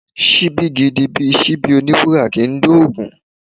Ṣíbí gidi bíi Ṣíbí oní wúrà kì ń dóògún.